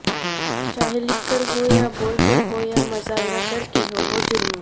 چاہے لکھ کر ہو یا بول کر ہو یا مظاہرہ کر کے ہو وہ جرم